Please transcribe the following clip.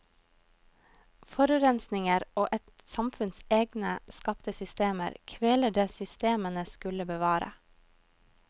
Forurensninger og et samfunns egne skapte systemer kveler det systemene skulle bevare.